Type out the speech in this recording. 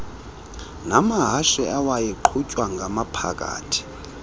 namahashe awayeqhutwya ngamaphakathi